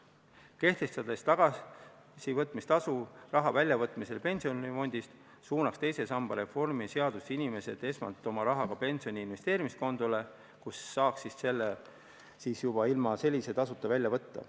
Kui kehtestada tagasivõtmistasu raha väljavõtmisel pensionifondist, suunaks see inimesed esmalt oma rahaga pensioni investeerimiskontole, kust saaks selle juba ilma tagasivõtmistasuta välja võtta.